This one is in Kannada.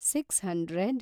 six hundred